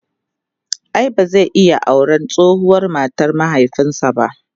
ai ba zai iya auran tsohuwar matar mahaifinsa ba?